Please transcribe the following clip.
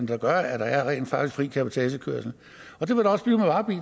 der gør at der rent faktisk er fri cabotagekørsel det vil